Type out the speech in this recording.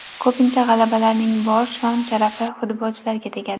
Ko‘pincha g‘alabalarning bor shon-sharafi futbolchilarga tegadi.